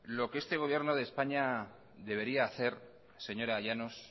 lo que este gobierno de españa debería hacer señora llanos